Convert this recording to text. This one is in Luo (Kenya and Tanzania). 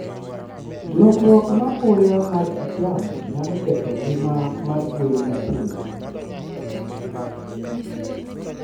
Lokruok mapoya mar kit yamo nyalo ketho ngima mar gwen matindo.